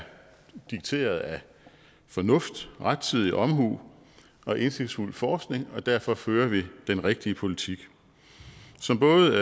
dikteret af fornuft rettidig omhu og indsigtsfuld forskning og derfor fører vi den rigtige politik som både